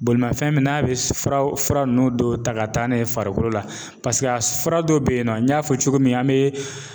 Bolimafɛn min n'a bɛ furaw fura ninnu dɔw ta ka taa n'a ye farikolo la paseke a fura dɔ bɛ yen nɔ n y'a fɔ cogo min an me